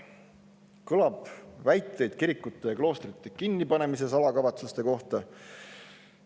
Kõlab väiteid kirikute ja kloostrite kinnipanemise salakavatsuste kohta.